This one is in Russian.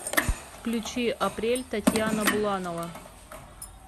включи апрель татьяна буланова